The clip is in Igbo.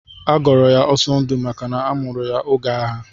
Agọrọ ya Ọsọndụ maka na amụrụ ya oge agha.